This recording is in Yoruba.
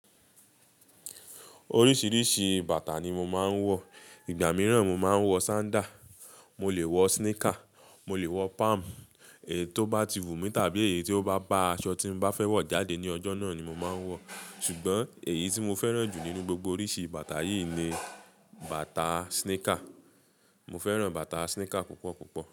Oríṣìíríṣìí bàtà ni mo máa ń wọ, ìgbà mìíràn mo máa ń wọ sandal, mo lè wọ sneaker, mo lè wọ palm, èyí tó bá ti wù mí tàbí èyí tó bá ba aṣọ tí mo bá fẹ́ wọ̀ jáde ní ọjọ́ náà ni mo máa ń wọ̀. Ṣùgbọ́n èyí tí mo fẹ́ràn jù nínú gbogbo oríṣi bàtà yìí ni bàtà sneaker. Mo fẹ́ràn bàtà sneaker púpọ̀ púpọ̀.